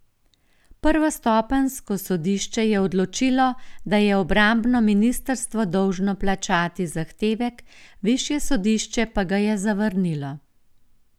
Prvostopenjsko sodišče je odločilo, da je obrambno ministrstvo dolžno plačati zahtevek, višje sodišče pa ga je zavrnilo.